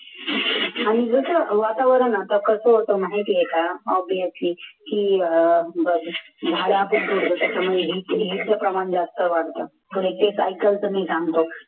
आणि इथं वातावरण आता कसं होतं माहिती आहे का obviously की प्रमाण जास्त वाढतं